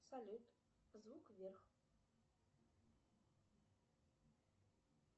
салют звук вверх